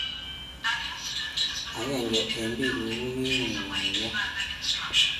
Agennge eng biik ug ko kiingunynyuso